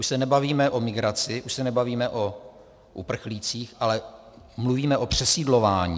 Už se nebavíme o migraci, už se nebavíme o uprchlících, ale mluvíme o přesídlování.